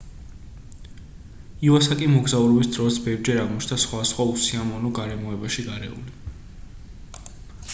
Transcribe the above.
ივასაკი მოგზაურობის დროს ბევრჯერ აღმოჩნდა სხვადასხვა უსიამოვნო გარემოებაში გარეული